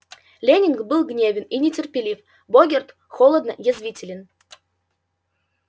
лэннинг был гневен и нетерпелив богерт холодно язвителен